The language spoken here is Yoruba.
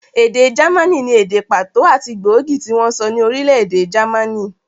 Èdè jámànì ni èdè pàtó àti gbóògì tí wọ́n ń sọ ní orílẹ̀-èdè jámànì.